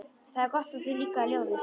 Það er gott að þér líkaði ljóðið.